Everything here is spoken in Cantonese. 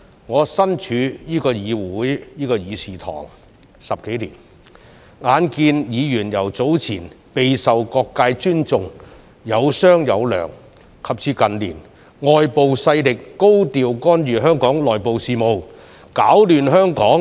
我身處這個議事堂10多年，眼看議員由早年備受各界尊重，有商有量，及至近年外部勢力高調干預香港內部事務，攪亂香港。